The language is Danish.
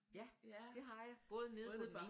Ja det har jeg både nede